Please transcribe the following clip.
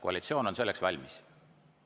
Koalitsioon on selleks valmis.